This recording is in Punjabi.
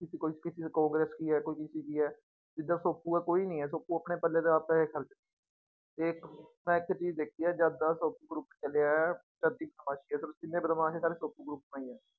ਵੀ ਕੋਈ ਕਿਸੇ ਕਾਂਗਰਸ਼ ਕੀ ਹੈ ਕੋਈ ਕਿਸੇ ਕੀ ਹੈ ਜਿੱਦਾਂ ਸੋਪੂ ਹੈ ਕੋਈ ਨੀ ਹੈ ਸੋਪੂ ਆਪਣੇ ਪੱਲੇ ਦੇ ਆਪ ਪੈਸੇ ਖ਼ਰਚ ਇੱਕ ਮੈਂ ਇੱਕ ਚੀਜ਼ ਦੇਖੀ ਹੈ ਜਦ ਦਾ ਸੋਪੂ group ਚੱਲਿਆ ਹੈ ਜਿੰਨੇ ਬਦਮਾਸ਼ ਹੈ ਸਾਰੇ ਸੋਪੂ group ਤੋਂ ਹੀ ਹੈ।